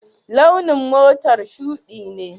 Launin motar shuɗi ne?